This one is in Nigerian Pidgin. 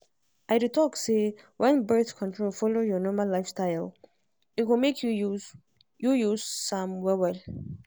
i dey talk say when birth control follow your normal lifestyle e go make you use you use am well well.